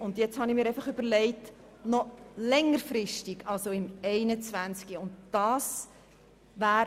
Nun habe ich mir überlegt, etwas Längerfristiges vorzuschlagen und mich auf das Jahr 2021 zu beziehen.